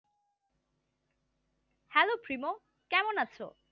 hello প্রিমো কেমন আছো?